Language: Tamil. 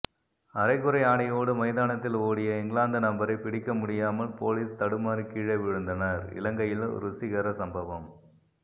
அரைகுறை ஆடையோடு மைதானத்தில் ஓடிய இங்கிலாந்து நபரை பிடிக்க முடியாமல் போலீஸ் தடுமாறி கீழே விழந்தனர் இலங்கையில் ருசிகர சம்பவம்